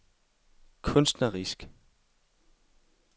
kunstnerisk